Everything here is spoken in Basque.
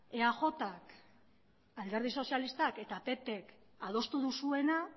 eajk alderdi sozialistak eta pp adostu duzuena